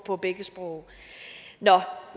på begge sprog nå